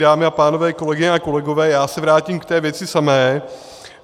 Dámy a pánové, kolegyně a kolegové, já se vrátím k té věci samé.